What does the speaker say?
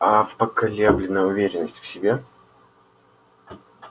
аа поколебленная уверенность в себе